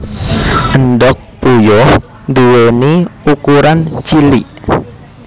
Endhog puyuh nduwèni ukuran cilik